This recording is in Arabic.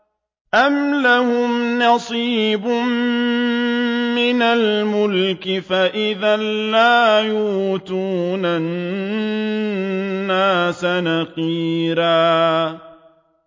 أَمْ لَهُمْ نَصِيبٌ مِّنَ الْمُلْكِ فَإِذًا لَّا يُؤْتُونَ النَّاسَ نَقِيرًا